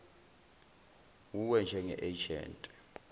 wuwe njenge agent